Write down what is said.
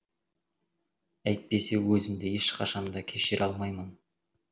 әйтпесе өзімді ешқашан да кешіре алмаймын